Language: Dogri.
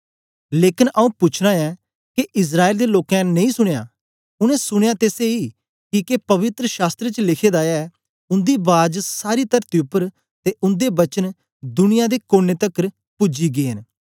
लेकन आऊँ पूछना ऐं के इस्राएल दे लोकें नेई सुनया उनै सुनयां ते सेई किके पवित्र शास्त्र च लिखे दा ऐ उन्दी बाज सारी तरती उपर ते उन्दे वचन दुनिया दे कोने तकर पूजी गै न